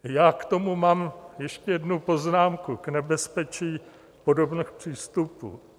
Já k tomu mám ještě jednu poznámku, k nebezpečí podobných přístupů.